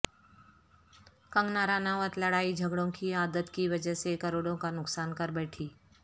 کنگنا رناوت لڑائی جھگڑوں کی عادت کی وجہ سے کروڑوں کا نقصان کر بیٹھیں